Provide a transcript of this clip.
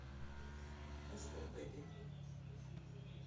поставь бэби